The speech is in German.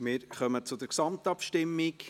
Wir kommen zur Gesamtabstimmung.